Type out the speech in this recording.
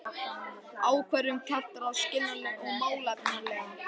Ákvörðun kjararáðs skiljanleg og málefnaleg